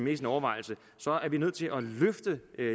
i sine overvejelser er vi nødt til at løfte